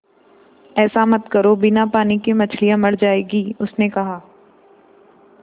ऐसा मत करो बिना पानी के मछलियाँ मर जाएँगी उसने कहा